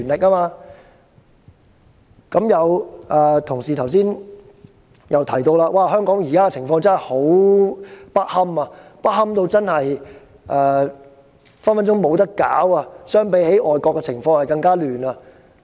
剛才有同事亦提到，香港現在的情況真的很不堪，隨時不能舉行選舉，比外國的情況更動亂。